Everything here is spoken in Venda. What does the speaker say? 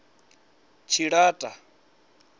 tshilata